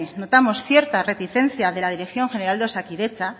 notamos cierta reticencia de la dirección general de osakidetza